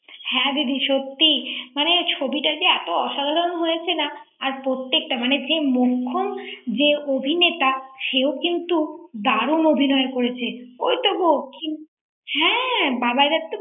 হ্যাঁ দিদি সত্যি মানে ছবি তা এত মানে অসাধারন হয়েছে হয়েছেন না প্রত্যেকটা মানে মুক্ষম যে অভিনেতা তা সেও কিন্তু দারুণ অভিনয় করেছে ঐতো গো কিন্তু হ্যাঁ বাবাইদা ৷